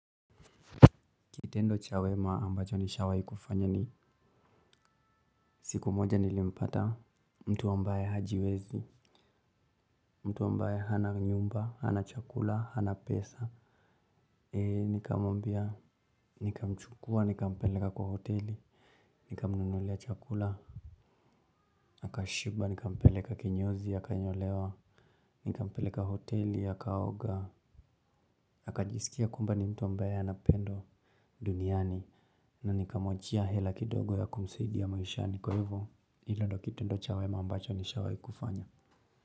Kitendo cha wema ambacho nishawahi kufanya ni siku moja nilimpata mtu ambaye hajiwezi, mtu ambaye hana nyumba, hana chakula, hana pesa. Nikamwambia, nikamchukua, nikampeleka kwa hoteli, nikamnunulia chakula, akashiba, nikampeleka kinyozi, akanyolewa, nikampeleka hoteli, akaoga, akajisikia kwamba ni mtu ambae anapendwa duniani na nikamwachia hela kidogo ya kumsaidia ya maishani kwa hivyo. Hilo ndo kitendo cha wema ambacho nishawahi kufanya.